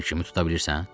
Fikrimi tuta bilirsən?